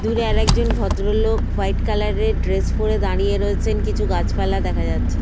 দূরে আর একজন ভদ্রলোক ওয়াইট কালার -এর ড্রেস পরে দাঁড়িয়ে রয়েছেন। কিছু গাছ পালা দেখা যাচ্ছে।